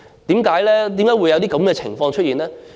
為何會有這情況出現呢？